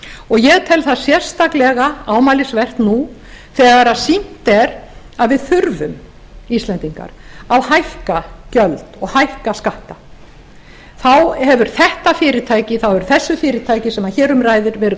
og ég tel það sérstaklega ámælisvert nú þegar að sýnt er að við þurfum íslendingar að hækka gjöld og hækka skatta þá hefur þessu fyrirtæki sem hér um ræðir verið